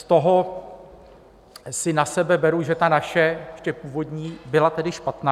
Z toho si na sebe beru, že ta naše, ještě původní, byla tedy špatná.